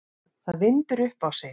Það vindur upp á sig.